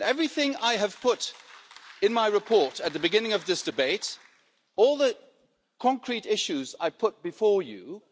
Everything I put in my report at the beginning of this debate, and all the concrete issues I have put before you